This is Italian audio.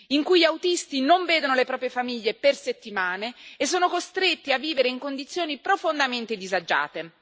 in cui gli autisti non vedono le proprie famiglie per settimane e sono costretti a vivere in condizioni profondamente disagiate.